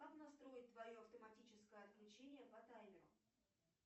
как настроить твое автоматическое отключение по таймеру